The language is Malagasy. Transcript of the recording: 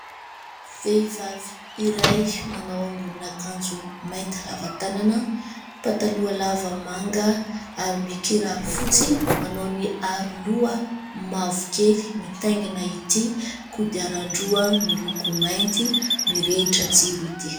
Vehivavy iray manao ambonin'akanjo mainty lava tanana, pataloha lava manga ary mikiraro fotsy, manao ny aroloha mavokely mitaingina ity kodiaran-droa miloko mainty mirehitra jiro ity.